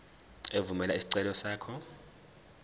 evumela isicelo sakho